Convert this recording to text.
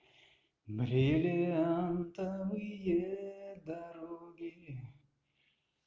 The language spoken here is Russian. бриллиантовые дороги